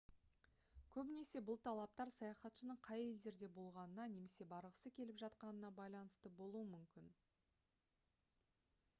көбінесе бұл талаптар саяхатшының қай елдерде болғанына немесе барғысы келіп жатқанына байланысты болуы мүмкін